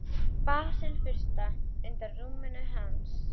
Basil fursta, undan rúminu hans.